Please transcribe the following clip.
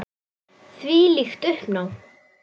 Þvílíkt uppnám.